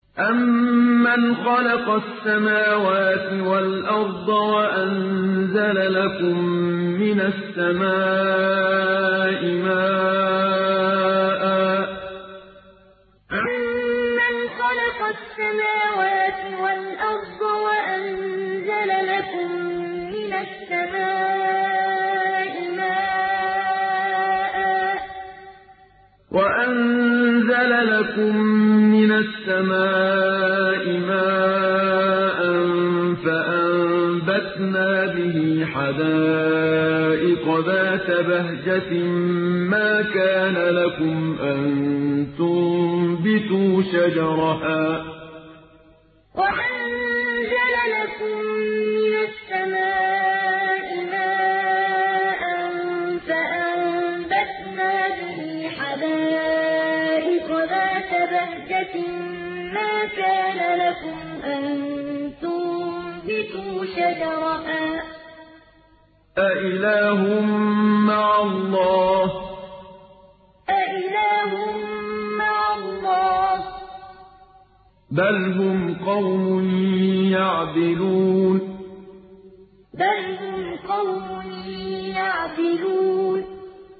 أَمَّنْ خَلَقَ السَّمَاوَاتِ وَالْأَرْضَ وَأَنزَلَ لَكُم مِّنَ السَّمَاءِ مَاءً فَأَنبَتْنَا بِهِ حَدَائِقَ ذَاتَ بَهْجَةٍ مَّا كَانَ لَكُمْ أَن تُنبِتُوا شَجَرَهَا ۗ أَإِلَٰهٌ مَّعَ اللَّهِ ۚ بَلْ هُمْ قَوْمٌ يَعْدِلُونَ أَمَّنْ خَلَقَ السَّمَاوَاتِ وَالْأَرْضَ وَأَنزَلَ لَكُم مِّنَ السَّمَاءِ مَاءً فَأَنبَتْنَا بِهِ حَدَائِقَ ذَاتَ بَهْجَةٍ مَّا كَانَ لَكُمْ أَن تُنبِتُوا شَجَرَهَا ۗ أَإِلَٰهٌ مَّعَ اللَّهِ ۚ بَلْ هُمْ قَوْمٌ يَعْدِلُونَ